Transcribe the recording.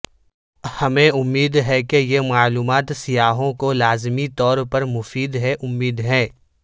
ہمیں امید ہے کہ یہ معلومات سیاحوں کو لازمی طور پر مفید ہے امید ہے